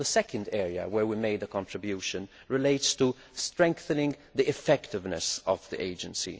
The second area where we have made a contribution relates to strengthening the effectiveness of the Agency